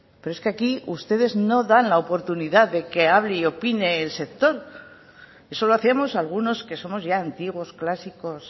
pero es que aquí ustedes no dan la oportunidad de que hable y opine el sector eso lo hacíamos algunos que somos ya antiguos clásicos